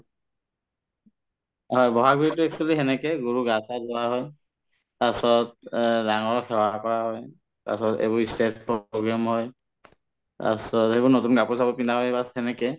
হয়, বহাগ বিহুতো actually সেনেকে গৰু গাই ধোৱাই লোৱা হয় তাৰপাছত অ ডাঙৰক সেৱা কৰা হয় তাৰপাছত এইবোৰ ই stage program হয় তাৰপাছত সেইবোৰ নতুন কাপোৰ-চাপোৰ পিন্ধা হয় bass সেনেকে